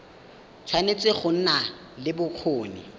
tshwanetse go nna le bokgoni